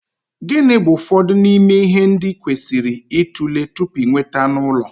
Gịnị bụ ụfọdụ n'ime ihe ndị ị kwesịrị ịtụle tupu ị nweta anụ ụlọ?